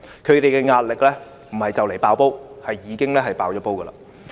他們的壓力不是快將"爆煲"，而是已經"爆煲"。